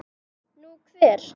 Nú, hver?